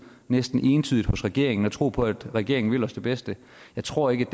næsten entydigt hos regeringen og tro på at regeringen vil os det bedste jeg tror ikke